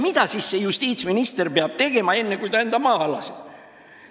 Mida siis see justiitsminister peab tegema, enne kui ta enda maha laseb?